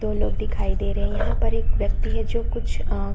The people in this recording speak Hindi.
दो लोग दिखाई दे रहे है पर एक व्यक्ति है जो कुछ अ--